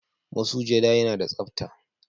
Masujada yana da tsapta,